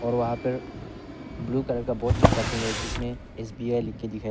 और वहां पर ब्लू कलर का बोर्ड चपका के है जिसमें एस_बी_आई लिख के दिखाई--